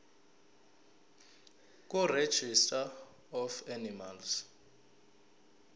kuregistrar of animals